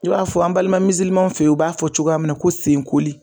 I b'a fɔ an balima fɛ yen u b'a fɔ cogoya min na ko senkoli.